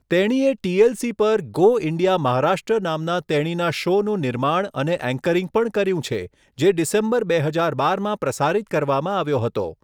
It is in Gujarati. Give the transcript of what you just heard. તેણીએ ટી.એલ.સી. પર ગો ઈન્ડિયા મહારાષ્ટ્ર નામના તેણીના શોનું નિર્માણ અને એન્કરિંગ પણ કર્યું છે, જે ડિસેમ્બર 2012 માં પ્રસારિત કરવામાં આવ્યો હતો.